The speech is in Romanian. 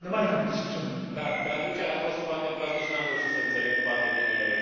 Traducerea a fost foarte proastă și nu am reușit să înțeleg foarte bine întrebarea.